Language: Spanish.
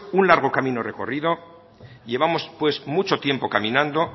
un largo camino recorrido llevamos pues mucho tiempo caminando